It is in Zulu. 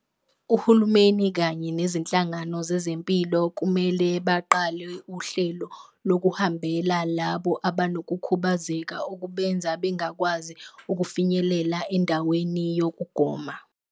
Uhulumeni kanye nezinhlangano zezempilo kumele baqale uhlelo lokuhambela labo abanokukhubazeka, okubenza bengakwazi ukufinyelela endaweni yokugoma.